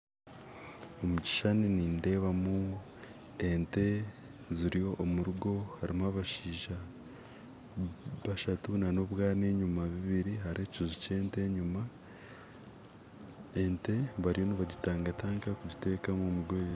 Omukishushani nindeebamu ente ziri omurugo harimu abashaija bashatu nana obwana enyuma bubiri hariho ekiju kyente enyuma ente bariyo nibagitangatanga kugiteekamu omugoye